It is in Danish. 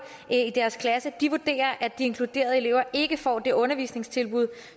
i vurderer at de inkluderede elever ikke får det undervisningstilbud